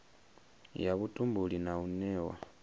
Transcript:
ya vhutumbuli na u newa